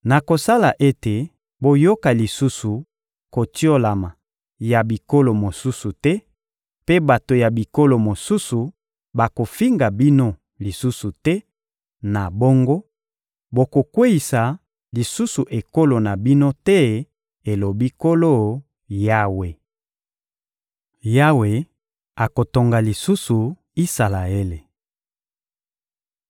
Nakosala ete boyoka lisusu kotiolama ya bikolo mosusu te, mpe bato ya bikolo mosusu bakofinga bino lisusu te; na bongo, bokokweyisa lisusu ekolo na bino te, elobi Nkolo Yawe.›» Yawe akotonga lisusu Isalaele